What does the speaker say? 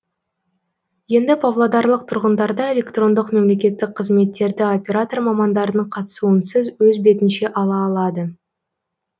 енді павлодарлық тұрғындарда электрондық мемлекеттік қызметтерді оператор мамандардың қатысуынсыз өз бетінше ала алады